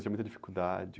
Tinha muita dificuldade?